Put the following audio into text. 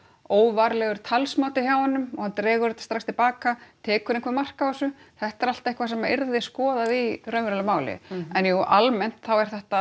óvarlegur talsmáti hjá honum og hann dregur þetta strax til baka tekur einhver mark á þessu þetta er allt eitthvað sem yrði skoðað í raunverulegu máli en jú almennt þá er þetta